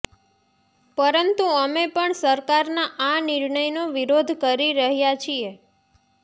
પરંતુ અમે પણ સરકારના આ નિર્ણયનો વિરોધ કરી રહ્યા છીએ